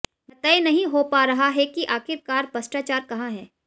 यह तय नहीं हो पा रहा है कि आखिर कार भ्रष्टाचार कहां है